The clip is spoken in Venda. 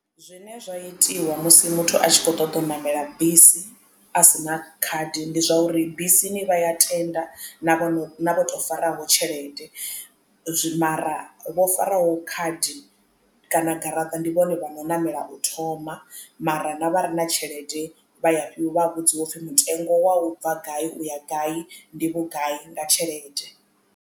Zwine zwa itiwa musi muthu a tshi kho ṱoḓa u ṋamela bisi a sina khadi ndi zwauri bisini vha ya tenda na vho faraho tshelede mara vho faraho wo khadi kana garaṱa ndi vhone vhano ṋamela u thoma mara na vha re na tshelede vha ya vha vhudziwa upfhi mutengo wa u bva gai uya gai ndi vhugai nga tshelede.